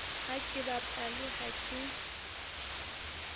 ha ke bapale ha ke